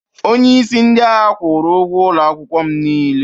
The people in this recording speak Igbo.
onyeisi ndị agha kwụrụ ụgwọ ụlọ akwụkwọ m niile